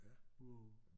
Wow!